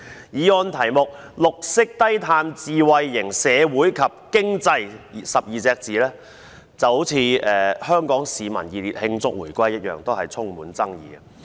議案題目中，"綠色低碳智慧型社會及經濟 "12 個字就像"香港市民熱烈慶祝回歸"一樣充滿爭議。